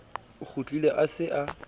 o kgutlile a se a